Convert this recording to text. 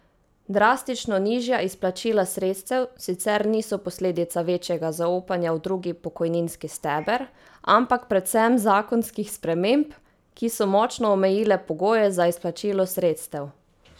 Drastično nižja izplačila sredstev sicer niso posledica večjega zaupanja v drugi pokojninski steber, ampak predvsem zakonskih sprememb, ki so močno omejile pogoje za izplačilo sredstev.